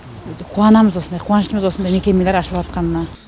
қуанамыз осындай қуаныштымыз осындай мекемелер ашылыватқанына